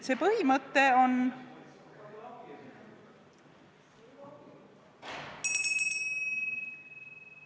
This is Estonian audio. See põhimõte on ...